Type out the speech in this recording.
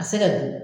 A se ka di